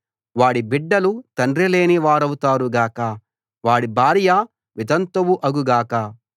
వాడి బిడ్డలు తండ్రిలేని వారౌతారు గాక వాడి భార్య వితంతువు అగు గాక